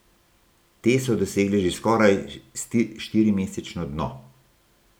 Te so dosegle že skoraj štirimesečno dno.